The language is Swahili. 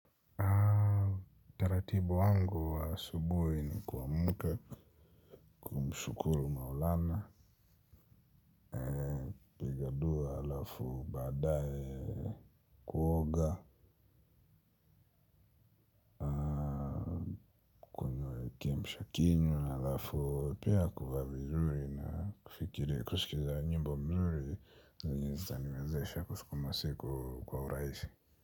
Utaratibu wangu wa asubuhi ni kuamka. Mshukuru maulana. Piga dua halafu baadaye kuoga. Kunywa kiamsha kinywa halafu pia kuvaa vizuri na kufikiria kusikiza nyimbo mzuri. Zenye zitaniwezesha kusukuma siku kwa urahisi.